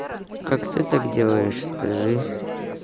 как ты так делаешь скажи